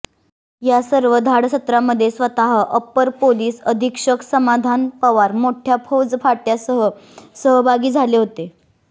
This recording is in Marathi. या सर्व धाडसत्रामध्ये स्वतः अप्पर पोलीस अधीक्षक समाधान पवार मोठ्या फौजफाट्यासह सहभागी झाले होते